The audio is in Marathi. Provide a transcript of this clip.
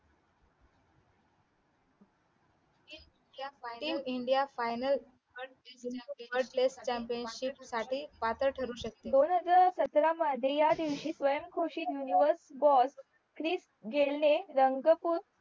in India final third place chamapionship पात्र ठरू शकते दोन हज़ार सतरा मध्ये ह्या दिवशी स्वयंघोषित universe बॉस ख्रिस गेलं ने रंगपूर